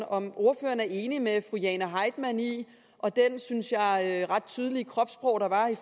om ordføreren er enig med fru jane heitmann og det synes jeg ret tydelige kropssprog der var i